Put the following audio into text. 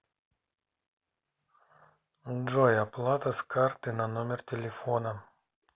джой оплата с карты на номер телефона